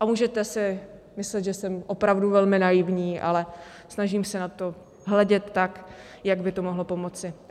A můžete si myslet, že jsem opravdu velmi naivní, ale snažím se na to hledět tak, jak by to mohlo pomoci.